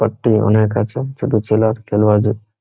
Forty one -এর কাছে ছোট ছেলার ।